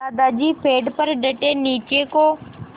दादाजी पेड़ पर डटे नीचे को